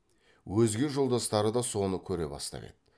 өзге жолдастары да соны көре бастап еді